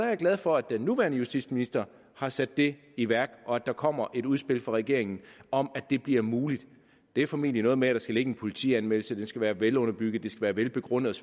jeg glad for at den nuværende justitsminister har sat det i værk og at der kommer et udspil fra regeringen om at det bliver muligt det er formentlig noget med at der skal ligge en politianmeldelse at den skal være velunderbygget være velbegrundet